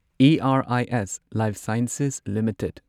IRIS Lifesciences limited